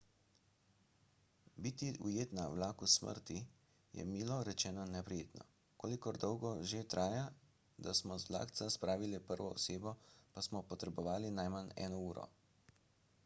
biti ujet na vlaku smrti je milo rečeno neprijetno kolikor dolgo že traja da smo z vlakca spravili prvo osebo pa smo potrebovali najmanj eno uro